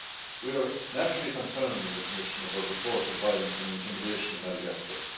We are naturally concerned in the Commission about reports of violence and intimidation in Madagascar.